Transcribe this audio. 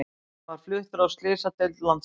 Hann var fluttur á slysadeild Landspítalans